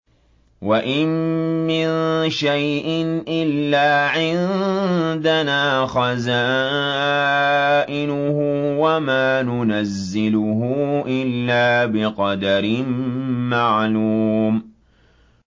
وَإِن مِّن شَيْءٍ إِلَّا عِندَنَا خَزَائِنُهُ وَمَا نُنَزِّلُهُ إِلَّا بِقَدَرٍ مَّعْلُومٍ